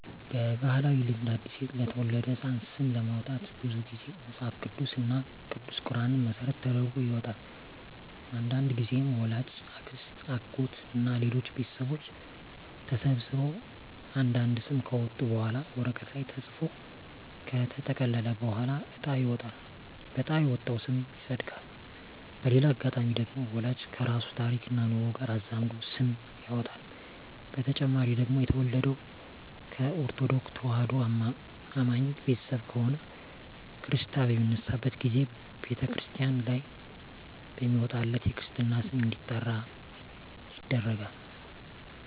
በባህላዊ ልማድ አዲስ ለተወለደ ህጻን ስም ለማውጣት ብዙ ግዜ መጸሀፍ ቅዱስ እና ቅዱስ ቁራንን መሰረት ተደርጎ ይወጣል። አንዳንድግዜም ወላጅ፣ አክስት፣ አጎት እና ሌሎች ቤተሰቦች ተሰብስበው አንድ አንድ ስም ካወጡ በኋላ ወረቀት ላይ ተጽፎ ከተጠቀለለ በኋላ እጣ ይወጣል በእጣ የወጣው ስም ይጸድቃል። በሌላ አጋጣሚ ደግሞ ወላጅ ከራሱ ታሪክና ኑሮ ጋር አዛምዶ ስም ያወጣል። በተጨማሪ ደግሞ የተወለደው ከኦርተዶክ ተዋህዶ አማኝ ቤተሰብ ከሆነ ክርስታ በሚነሳበት ግዜ በተክርስቲያን ላይ በሚወጣለት የክርስትና ስም እንዲጠራ ይደረጋል።